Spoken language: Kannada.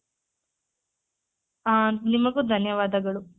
ಹ ನಿಮಗೂ ಧನ್ಯವಾದಗಳು.